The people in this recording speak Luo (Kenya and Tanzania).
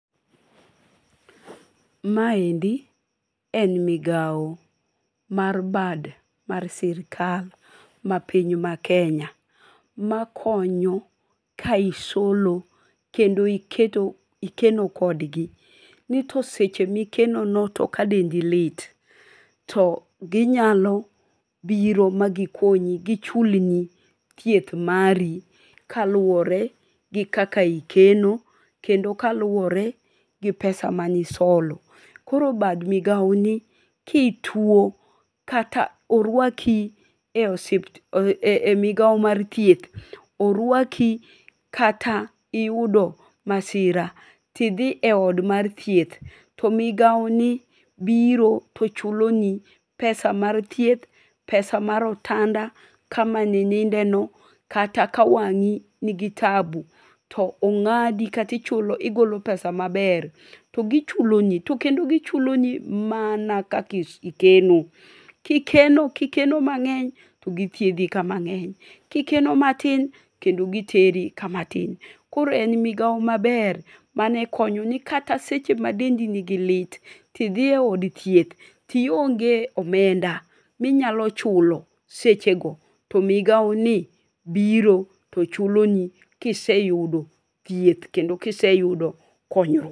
maendi en migao mar bad mar sirkal mapiny makenya makonyo ka isolo kendo ikeno kodgi nitoseche mikeno no kadendi lit to ginyalo biro magichulni thieth mari kaluwore gi kaka ikeno kendo kaluwore gi pesa manisolo koro bad migao ni kituo kata orwaki e migao mar thieth orwaki kata iyudo masira to idhi e od mar thieth to migao ni biro to chulo ni pesa mar thieth, pesa mar otanda kama nininde no to kata ka wangi nigi tabu tongadi katigolo pesa maber togichuloni tokendo gichuloni mana kaka ikeno kikeno mangeny togithiedhi mangeny kikeno mati to giteri kama tin koro ne en migao maber manekonyo ni kata seche madendi nigi lit tidhi eod thieth tionge omenda minyalo chulo sechego to migao ni biro tochulo ni kiseyudo thieth kendo kiseyudo konyruok